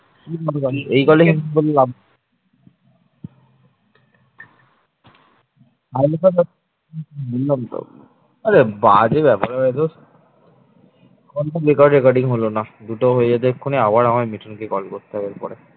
recording হলো না দুটো হয়ে যেত এক্ষুনি আবার আমায় মিঠুনকে call করতে হবে এরপরে